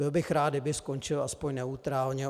Byl bych rád, kdyby skončil aspoň neutrálně.